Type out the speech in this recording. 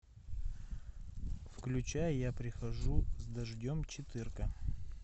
включай я прихожу с дождем четырка